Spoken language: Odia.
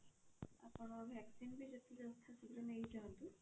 ଆପଣ vaccine ବି ଯଥା ଶୀଘ୍ର ନେଇ ଯାଆନ୍ତୁ